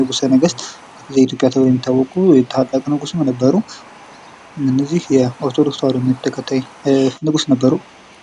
ንጉሰ ነገስት ተብሎ በሚታወቀው ታላቅ ንጉስ ነበሩ። እነዚህ የኦርቶዶክስ እምነት ተከታይ ነበሩ።